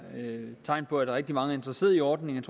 et tegn på at rigtig mange er interesserede i ordningen